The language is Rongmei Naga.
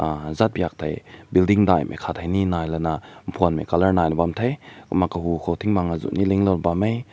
uh zatbek ti building dai kat ni nai li na phüm mai color bam te kumna kagugo tink bang aazu lin na bam meh.